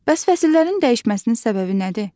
Bəs fəsillərin dəyişməsinin səbəbi nədir?